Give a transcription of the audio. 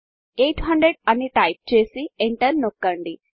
800 అని టైప్ చేసి ఎంటర్ నొక్కండి